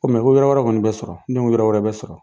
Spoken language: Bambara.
Ko ko yɔrɔ wɛrɛ kɔni bɛ sɔrɔ ne ko wɛrɛ bɛ sɔrɔ.